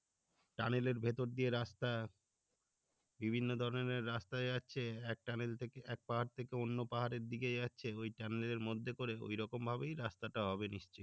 tunnel এর ভেতর দিয়ে রাস্তা বিভিন্ন ধরণের রাস্তা যাচ্ছে এক tunnel থেকে এক পাহাড় থেকে অন্য পাহাড়ের দিকে যাচ্ছে ওই tunnel এর মধ্যে করে ঐরকম ভাবেই রাস্তাটা হবে নিশ্চই